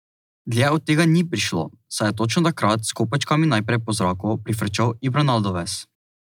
Dlje od tega ni prišla, saj je točno takrat s kopačkami naprej po zraku prifrčal Ibranaldovez.